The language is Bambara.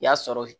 I y'a sɔrɔ